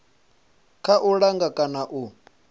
kha u langa kana u